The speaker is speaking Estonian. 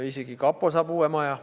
Isegi kapo saab uue maja.